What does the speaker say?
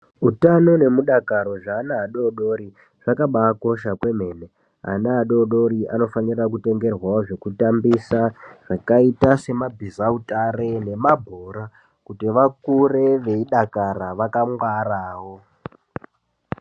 Utano nemudakaro zveana adoodori zvakabaakosha kwemene .Ana adoodori anofane kutengerwawo zvekutambisa zvakaita semabhizautare nemabhora kuti vakure veidakara vakangwarawo.